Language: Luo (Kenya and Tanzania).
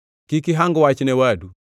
Kik ihang wach ne wadu.